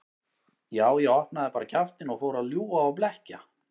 Já, ég opnaði bara kjaftinn og fór að ljúga og blekkja.